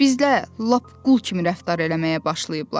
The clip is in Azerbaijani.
Bizlər lap qul kimi rəftar eləməyə başlayıblar.